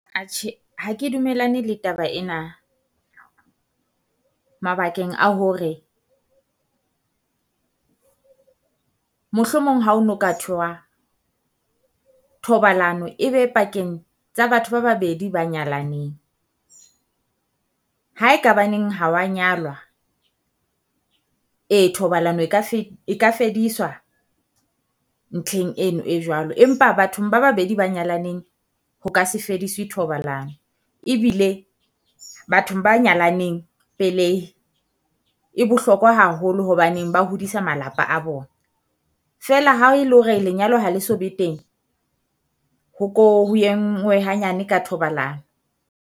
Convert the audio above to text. Ha ha ke dumellane le taba ena, mabakeng a hore mohlomong ha o no ka thoha thobalano e be pakeng tsa batho ba babedi ba nyalaneng. Ha e ka ba neng ha wa nyalwa, ee thobalano e ka e ka fediswa ntlheng eno e jwalo. Empa bathong ba babedi ba nyalaneng ho ka se fediswe thobalano ebile bathong ba nyalaneng pelehi e bohlokwa haholo hobaneng ba hodisa malapa a bona. Feela ha e le hore lenyalo ha le so be teng, ho ko ho engwe hanyane ka thobalano.